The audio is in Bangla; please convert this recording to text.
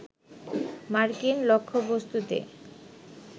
মার্কিন লক্ষ্যবস্তুতে